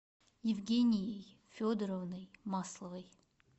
евгенией федоровной масловой